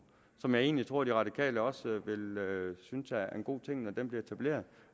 som jeg egentlig tror de radikale også vil vil synes er en god ting når den bliver etableret